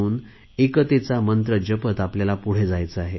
न एकतेचा मंत्र जपत आपल्याला पुढे जायचे आहे